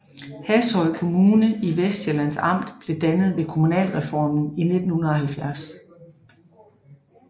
Hashøj Kommune i Vestsjællands Amt blev dannet ved kommunalreformen i 1970